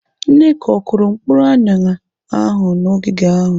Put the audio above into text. Nneka, ọ kụrụ mkpụrụ aṅara ahụ n'ogige ahụ?